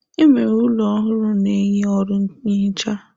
Enwere ụlọ ọrụ na-enye ọrụ nhicha.